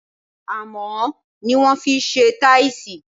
Amò ni wọn fise taisi